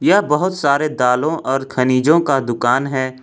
यह बहोत सारे दालों और खनिजों का दुकान है।